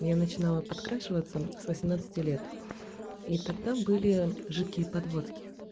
я начинала подкрашивать с восемнадцати лет и тогда были жидкие подводки